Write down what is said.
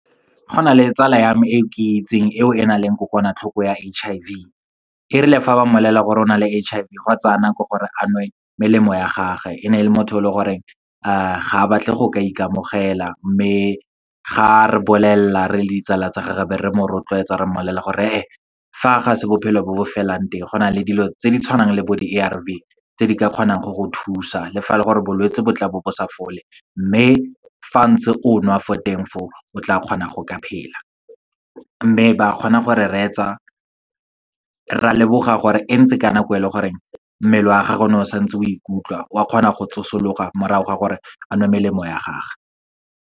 Go na le tsala ya me, e ke itseng eo e nang le kokwanatlhoko ya H_I_V. Erile fa ba mmolelela gore o na le H_I_V, gwa tsaya nako gore a nwe melemo ya gage. E ne e le motho o e leng gore ga a batle go ka ikamogela. Mme ga re bolelela re le ditsala tsa gage, be re mo rotloetsa re mmolelela gore e e, fa ga se bophelo bo bo felang teng, go na le dilo tse di tshwanang le bo di-A_R_V tse di ka kgonang go go thusa, le fa e le gore bolwetsi bo tla bo bo sa fole. Mme fa ntse o nwa fo teng fo o, o tla kgona go ka phela, mme ba kgona gore re retsa. Re a lemoga gore e ntse ka nako e leng goreng mmele wa gagwe o ne o santse o ikutlwa, wa kgona go tsosologa morago ga gore a nwe melemo ya gagwe.